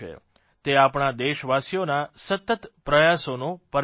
તે આપણા દેશવાસીઓના સતત પ્રયાસોનું પરિણામ છે